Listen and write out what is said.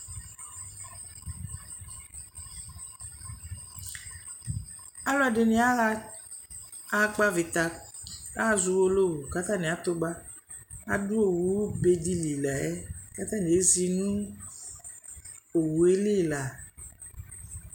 Alʋ ɛdɩnɩ aɣa ɣakpɔ avɩta, aɣa azɔ Uwolowu kʋ atanɩ atʋ ba kʋ adʋ owube dɩ li la yɛ Kʋ atanɩ ezi nʋ owu yɛ li la